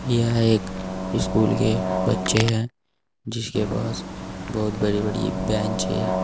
यह एक स्कूल के बच्चे हैं जिसके पास बहुत बड़ी बड़ी बेंच है।